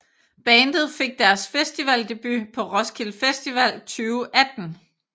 Bandet fik deres festivaldebut på Roskilde Festival 2018